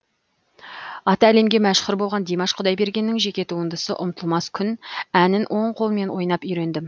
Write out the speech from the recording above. аты әлемге мәшһүр болған димаш құдайбергеннің жеке туындысы ұмытылмас күн әнін оң қолмен ойнап үйрендім